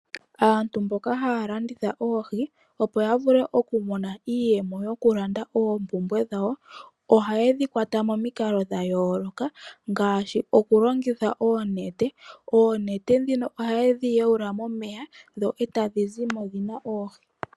Aantu mboka haya landitha oohi, opo yavule oku mona iiyemo yokulanda oompumbwe dhawo ohaye dhikwata momikalo dha yooloka ngaashi okulongitha oonete. Oonete dhino ohaye dhiyawula momeya dho etadhi zimo dhina oohi.